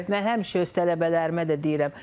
Mən həmişə öz tələbələrimə də deyirəm.